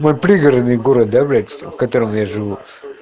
мой пригородный город да блять в котором я живу